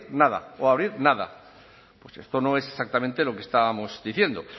nada o a abrir nada pues esto no es exactamente lo que estábamos diciendo